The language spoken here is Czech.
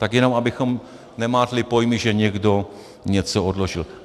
Tak jenom abychom nemátli pojmy, že někdo něco odložil.